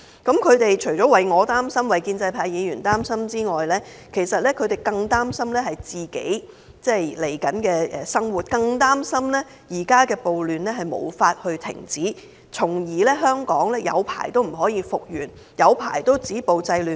他們除了擔心我、擔心建制派議員，其實他們更擔憂自己未來的生活，更擔憂現時的暴亂無法停止，香港很久也不能復原，政府很久也不能止暴制亂。